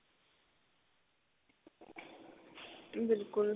ਬਿਲਕੁਲ